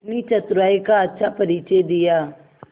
अपनी चतुराई का अच्छा परिचय दिया